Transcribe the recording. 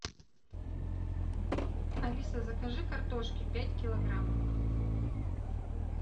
алиса закажи картошки пять килограмм